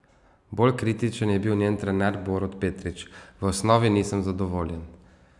Bolj kritičen je bil njen trener Borut Petrič: 'V osnovi nisem zadovoljen.